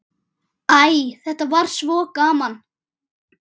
Æ, þetta var svo gaman.